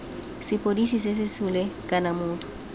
sepodisi sa sesole kana motho